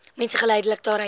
mense geldelik daaruit